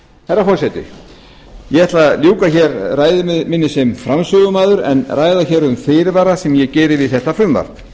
herra forseti ég ætla að ljúka hér ræðu minni sem framsögumaður en ræða hér um fyrirvara sem ég geri við þetta frumvarp